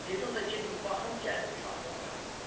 Dedi onda gedim baxım gəlim uşaqlara.